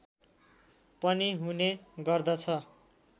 पनि हुने गर्दछ